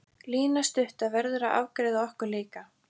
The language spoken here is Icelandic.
Lína stutta verður að afgreiða okkur líka.